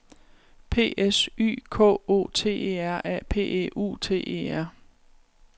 P S Y K O T E R A P E U T E R